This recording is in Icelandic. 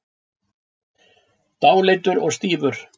Dáleiddur og stífur.